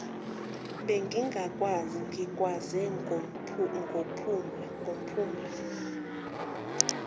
bengingakwazi ngikwaze ngophumla